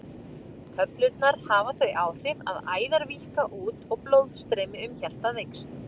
Töflurnar hafa þau áhrif að æðar víkka út og blóðstreymi um hjartað eykst.